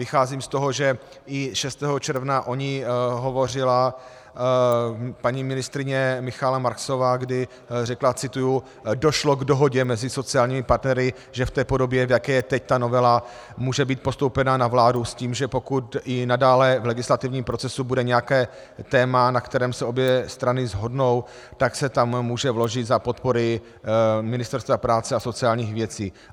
Vycházím z toho, že i 6. června o ní hovořila paní ministryně Michaela Marksová, kdy řekla - cituji: "Došlo k dohodě mezi sociálními partnery, že v té podobě, v jaké je teď ta novela, může být postoupena na vládu s tím, že pokud i nadále v legislativním procesu bude nějaké téma, na kterém se obě strany shodnou, tak se tam může vložit za podpory Ministerstva práce a sociálních věcí.